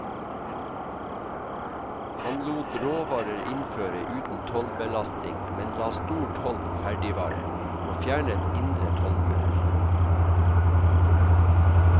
Han lot råvarer innføre uten tollbelasting, men la stor toll på ferdigvarer, og fjernet indre tollmurer.